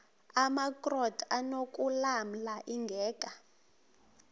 amakrot anokulamla ingeka